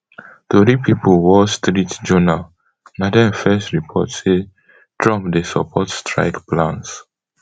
tori pipo wall street journal na dem first report say trump dey support strike plans